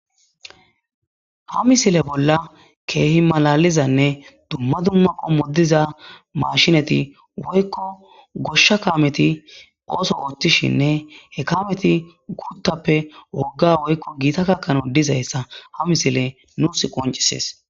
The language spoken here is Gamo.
Ha misile bolla kehi malaliza ne duma duma qommo diza mashineti woyko gosha kameti oso othishene he kameti guthappe woga woykon giitta gakanaw ha misiley nusi qoncises